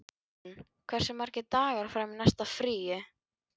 Ástrún, hversu margir dagar fram að næsta fríi?